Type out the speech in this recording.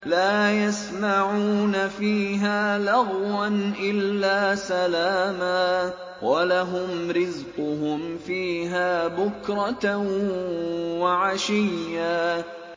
لَّا يَسْمَعُونَ فِيهَا لَغْوًا إِلَّا سَلَامًا ۖ وَلَهُمْ رِزْقُهُمْ فِيهَا بُكْرَةً وَعَشِيًّا